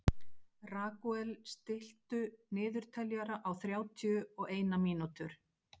Ragúel, stilltu niðurteljara á þrjátíu og eina mínútur.